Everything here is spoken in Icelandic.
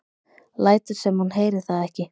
Lætur sem hún heyri það ekki.